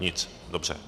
Nic. Dobře.